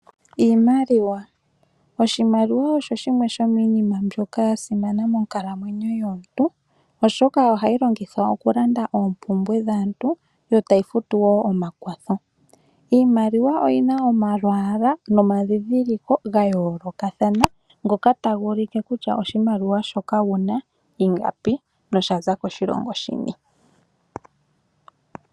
Iimaliwa oya simana monkalamwenyo yomuntu oshoka ohayi longithwa okulanda oompumbwe dhaantu yo tayi futu wo omakwatho .Oyina omalwalwa nomandhidhiloko ga yoolokathana ngoka taga ulike kutya oshimaliwa shoka wuna ingapi noshaza koshilongo shini.